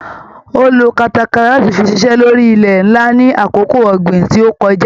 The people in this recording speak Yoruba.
Ó lo katakata láti fi ṣiṣẹ́ lórí ilẹ ńlá ní àkókò ọ̀gbìn tí ó kojá.